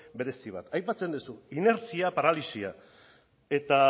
berezi bat aipatzen duzu inertzia paralisia eta